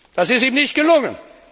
Das ist ihm nicht gelungen.